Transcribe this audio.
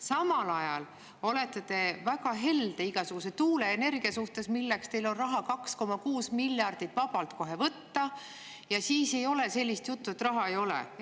Samal ajal olete te väga helde igasuguse tuuleenergia vastu, milleks teil on 2,6 miljardit kohe vabalt võtta, ja siis ei ole sellist juttu, et raha ei ole.